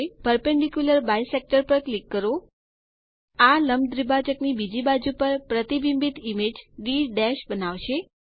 perpendicular bisector પર click કરો આ લંબ દ્વિભાજક ની બીજી બાજુ પર પ્રતિબિંબિત ઇમેજ ડી બનાવશે